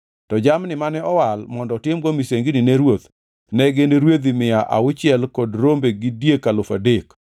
To jamni mane owal mondo otimgo misengini ni ruoth ne gin rwedhi mia auchiel kod rombe gi diek alufu adek.